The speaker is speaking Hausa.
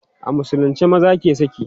a musulunce maza ke saki